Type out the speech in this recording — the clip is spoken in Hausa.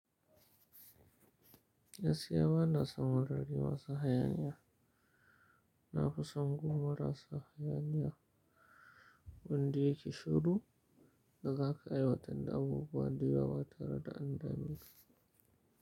Gaskiya bana son wurare masu hayaniya. Na fi son unguwa marasa hayaniya wanda yake shiru da za ka aiwatar da abubuwa da yawa ba tare da an dameka.